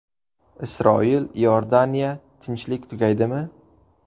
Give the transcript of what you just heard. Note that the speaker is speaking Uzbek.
Isroil – Iordaniya: tinchlik tugaydimi?